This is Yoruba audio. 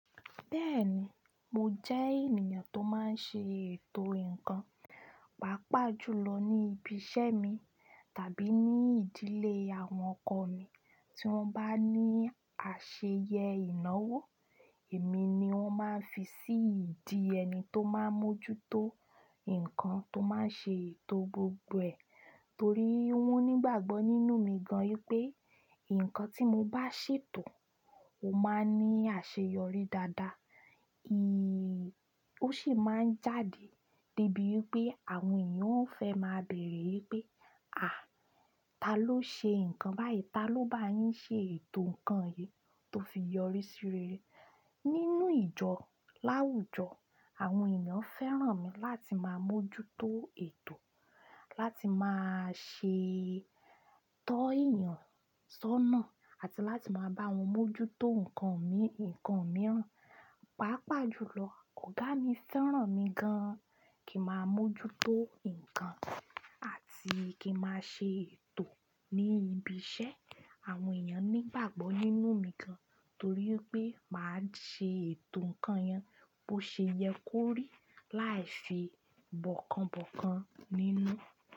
Bẹ́ẹ̀ni, mo jẹ́ ènìyàn tó máa n ṣe ètò ǹnkan, pàápàá jùlọ ní ibi iṣẹ́ mi tàbí ní ìdílé àwọn ọkọ mi. Tí wọ́n bá ní àṣeyẹ ìnáwó, èmi ni wọ́n máa ń fi sí ìdí ẹni tó máa ń mójútó ǹkan tó máa ń ṣe ètò gbogbo ẹ̀. Torí wọ́n nígbàgbọ́ nínú mi gan-an wipé ǹnkan tí mo bá ṣètò, ó máa ń ní àṣeyọrí dáadáa. Ó sì máa ń jáde debí wipé àwọn èèyàn ó fẹ́ máa bèrè wipé, ta ló ṣe ǹnkan báyìí? Ta ló bá yín ṣe ètò ǹnkan yìí tó fi yọrí sí rere? Nínú ìjọ láwùjọ, àwọn èèyàn fẹ́ràn mi láti máa mójútó ètò, láti máa ṣe tọ́ èèyàn sọ́nà àti láti máa bá wọn mójútó ǹnkan mi, ǹnkan mìíràn. Pàápàá jùlọ, ọ̀gá mi fẹ́ràn mi gan-an kí n máa mójútó ǹnkan àti kí n máa ṣe ètò ní ibi iṣẹ́. Àwọn èèyàn nígbàgbọ́ nínú mi gan-an torí pé máa ṣe ètò ǹnkan yen bó ṣe yẹ kó rí láì ṣe bọ̀kanbọ̀kan nínú.